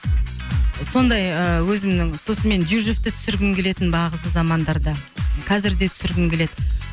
сондай ыыы өзімнің сосын мен дюжевті түсіргім келетін бағзы замандарда қазір де түсіргім келеді